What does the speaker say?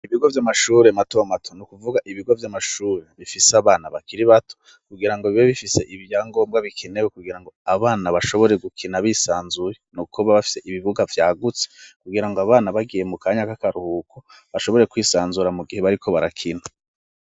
Ibigo vy'amashure mato mato, n'ukuvuga ibigo vy'amashuri bifise abana bakiri bato kugira ngo bibe bifise ibya ngombwa bikenewe kugira ngo abana bashobore gukina bisanzuye niukoba bafise ibivuga vyagutse kugira ngo abana bagiye mu kanyaka akaruhuko bashobore kwisanzura mu gihe bariko barakina.